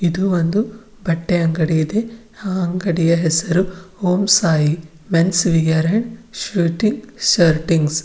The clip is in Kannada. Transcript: ಇದು ಒಂದು ಬಟ್ಟೆ ಅಂಗಡಿ ಇದೆ ಹಾ ಅಂಗಡಿಯ ಹೆಸರು Om Sai men's wear and --